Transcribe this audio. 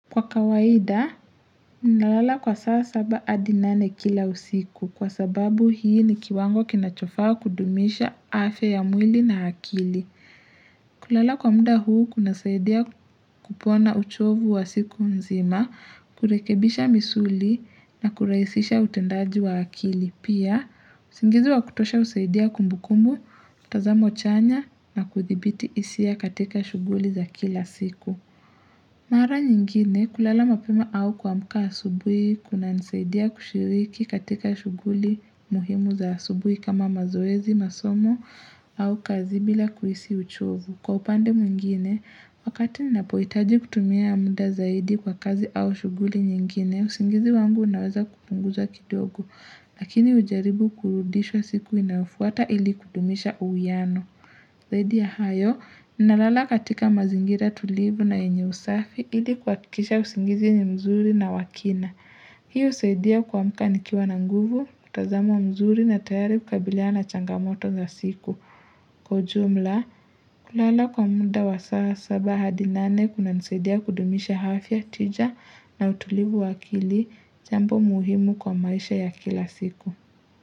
Kwa kawaida, nalala kwa saa saba adi nane kila usiku kwa sababu hiki ni kiwango kinachofaa kudumisha afya ya mwili na akili. Kulala kwa muda huu kunasaidia kupona uchovu wa siku nzima, kurekebisha misuli na kurahisisha utendaji wa akili. Pia, usingizi wa kutosha husaidia kumbukumbu, tazamo chanya na kuthibiti hisia katika shughuli za kila siku. Mara nyingine kulala mapema au kuamka asubuhi kunanisaidia kushiriki katika shughuli muhimu za asubuhi kama mazoezi masomo au kazi bila kuhisi uchovu. Kwa upande mwingine, wakati ninapohitaji kutumia muda zaidi kwa kazi au shughuli nyingine, usingizi wangu naweza kuupunguza kidogo. Lakini hujaribu kuurudisha siku inafuata ili kudumisha uwiano. Zaidi ya hayo, ninalala katika mazingira tulivu na yenye usafi ili kuhakikisha usingizi ni mzuri na wa kina. Hiyo husaidia kuamka nikiwa na nguvu, mtazamo mzuri na tayari kabiliana na changamoto za siku. Kwa ujumla, kulala kwa muda wa saba hadi nane kunanisaidia kudumisha afya, tija na utulivu wa akili, jambo muhimu kwa maisha ya kila siku.